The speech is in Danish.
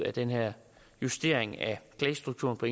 at den her justering af klagestrukturen på